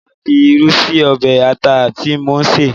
Mo máa fi irú sí ọbẹ̀ ata tí mò ń sè